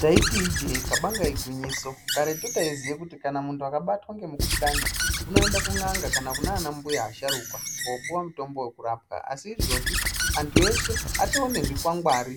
Taiti ijee kabanga igwinyiso karetu taiziya kuti kana muntu akabatwa ngemukuhlani unoende kun'anga kana kunana mbuya asharuka kopuva mutombo vekurapa. Asi izvozvi eshe atone zvikwangwari